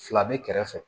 Fila bɛ kɛrɛfɛ